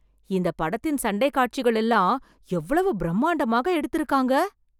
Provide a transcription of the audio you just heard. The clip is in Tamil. இந்த படத்தின் சண்டைக் காட்சிகள் எல்லாம் எவ்வளவு பிரம்மாண்டமாக எடுத்து இருக்காங்க.